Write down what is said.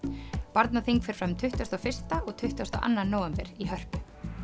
barnaþing fer fram tuttugasta og fyrsta og tuttugasta og annan nóvember í Hörpu